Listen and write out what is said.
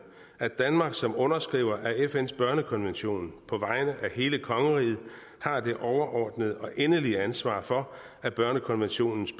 at danmark som underskriver af fns børnekonvention på vegne af hele kongeriget har det overordnede og endelige ansvar for at børnekonventionens